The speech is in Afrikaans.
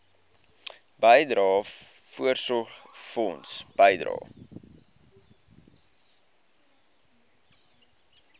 bydrae voorsorgfonds bydrae